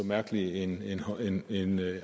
mærkelig en